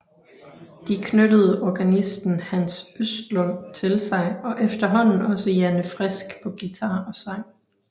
De knyttede organisten Hans Östlund til sig og efterhånden også Janne Frisk på guitar og sang